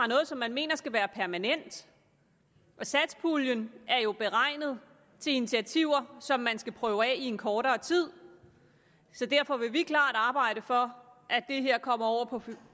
noget som man mener skal være permanent og satspuljen er jo beregnet til initiativer som man skal prøve af i en kortere tid så derfor vil vi klart arbejde for at det her kommer over